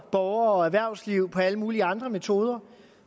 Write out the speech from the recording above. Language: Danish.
borgere og erhvervsliv med alle mulige andre metoder